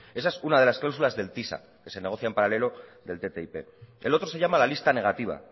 esa es una de las cláusulas del tisa que se negocia en paralelo del ttip el otro se llama la lista negativa